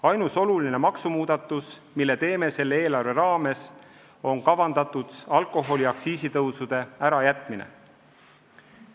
Ainus oluline maksumuudatus, mille selle eelarve kontekstis teeme, on kavandatud alkoholiaktsiisi tõusude ärajätmine.